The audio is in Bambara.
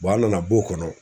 an nana b'o kɔnɔ